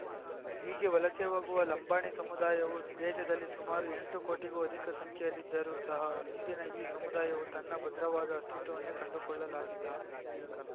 ಹೀಗೆ ವಲಸೆ ಹೋಗುವ ಲಂಬಾಣಿ ಸಮುದಾಯವು ದೇಶದಲ್ಲಿ ಸುಮಾರು ಎಂಟು ಕೋಟಿಗೂ ಅದಿಕ ಸಂಖ್ಯೆಯಲ್ಲಿದ್ದರೂ ಸಹ ಇಂದಿನ ಈ ಸಮುದಾಯವು ತನ್ನ ಭದ್ರವಾದ ಅಸ್ತಿತ್ವವನ್ನೇ ಕಂಡುಕೊಳ್ಳಲಾಗಿಲ್ಲ